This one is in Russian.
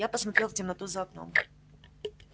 я посмотрел в темноту за окном